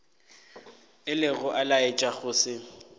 ilego a laetša go se